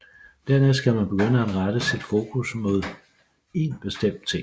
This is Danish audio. Dernæst skal man begynde at rette sit fokus mod én bestemt ting